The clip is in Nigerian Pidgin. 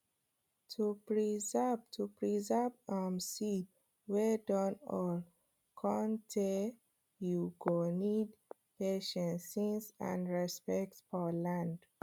to preserve to preserve um seed wey dun old cun tay you go need patience sense and respect for land